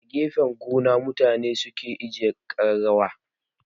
A gefen gado mutane suke ajiye kararrawa.